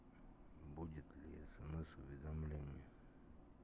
будет ли смс уведомление